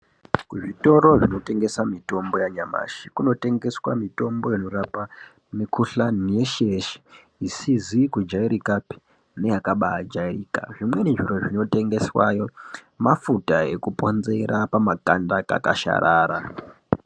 Kuzvitoro zvinotengesa mitombo yanyamashi kunoteswa mitombo inorapa mikhuhlani yeshe yeshe isizi kujairikapi neyakaba yajairika zvimweni zviro zvinotengeswayo mafuta ekuponzera pamakanda akakasharara.